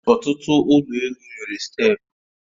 Ọtụtụ ụlọ elụ nwere steepụ